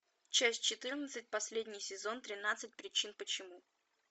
часть четырнадцать последний сезон тринадцать причин почему